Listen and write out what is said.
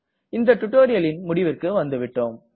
இந்த டுட்டோரியலின் முடிவிற்கு வந்துவிட்டோம்